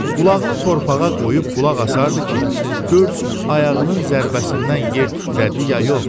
Qulağını torpağa qoyub qulaq asardı ki, görsün ayağının zərbəsindən yer titrədi ya yox.